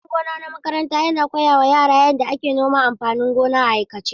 Gidan gona na makaranta yana koya wa yara yadda ake noman amfanin gona a aikace.